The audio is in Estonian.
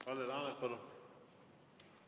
Kalle Laanet, palun!